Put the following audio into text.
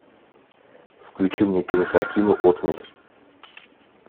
включи мне кинокартину отмель